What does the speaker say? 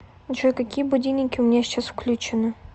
джой какие будильники у меня сейчас включены